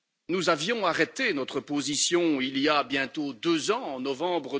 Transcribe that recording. Nous avons arrêté notre position il y a bientôt deux ans, en novembre